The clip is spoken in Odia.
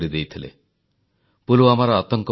10 ଦିନ ପୂର୍ବେ ଭାରତମାତା ନିଜର ବୀର ପୁତ୍ରମାନଙ୍କୁ ହରାଇଛି